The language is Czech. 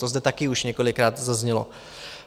To zde také už několikrát zaznělo.